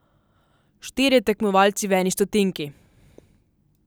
Štirje tekmovalci v eni stotinki.